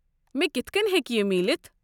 مے٘ كِتھ كٔنۍ ہیٚکہ یہِ میلِتھ؟